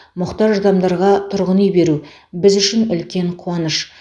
мұқтаж адамдарға тұрғын үй беру біз үшін үлкен қуаныш